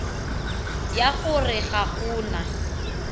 ya gore ga go na